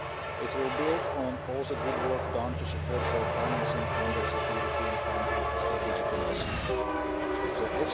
It will build on all the good work done to support their financing under the European Fund for Strategic Investment The